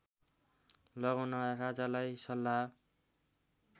लगाउन राजालाई सल्लाह